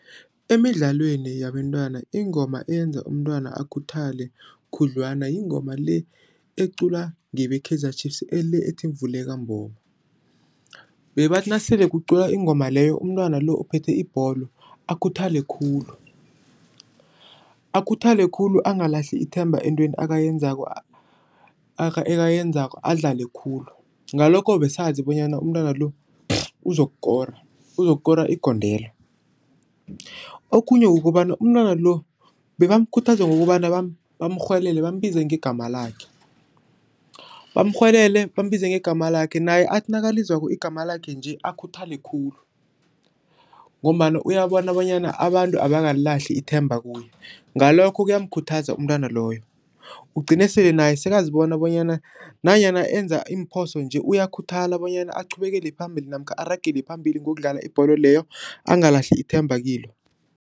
Emidlalweni yabantwana ingoma eyenza umntwana akhuthale khudlwana, yingoma le, eculwa ngebe-Kaizer Chiefs, le ethi, vuleka mbobo, bebathi nasele kucula ingoma leyo, umntwana lo, ophethe ibholo akhuthale khulu. Akhuthale khulu angalahli ithemba entweni ekayenzako adlale khulu. Ngalokho besazi bonyana umntwana lo, uzokukora igondelo, okhunye kukobana umntwana lo, bebamkhuthaza ngokobana bamrhuwelele bambize ngegama lakhe. Bamrhuwelele, bambize ngegama lakhe, naye athi nakalizwako igama lakhe nje, akhuthale khulu, ngombana uyabona bonyana abantu abakalahli ithemba kuye, ngalokho kuyamkhuthaza umntwana loyo. Ugcine sele naye sekazi bona bonyana nanyana enza iimphoso nje, uyakhuthala bonyana aqhubekele phambili, namkha aragele phambili, ngokudlala ibholo leyo, angalahli ithemba kilo.